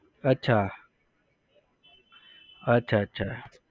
અચ્છા. અચ્છા અચ્છા